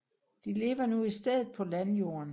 De lever i stedet nu på landjorden